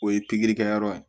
O ye pikiri kɛ yɔrɔ ye